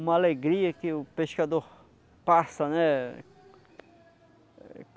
Uma alegria que o pescador passa, né?